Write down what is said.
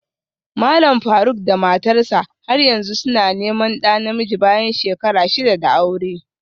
Malam Faruk da matarsa ​​har yanzu suna neman ɗa namiji bayan shekara shida da aure